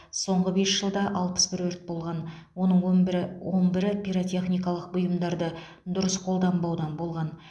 соңғы бес жылда алпыс бір өрт болған оның он бірі он бірі пиротехникалық бұйымдарды дұрыс қолданбаудан болған